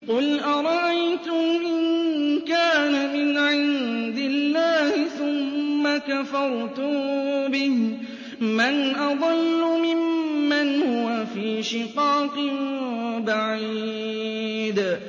قُلْ أَرَأَيْتُمْ إِن كَانَ مِنْ عِندِ اللَّهِ ثُمَّ كَفَرْتُم بِهِ مَنْ أَضَلُّ مِمَّنْ هُوَ فِي شِقَاقٍ بَعِيدٍ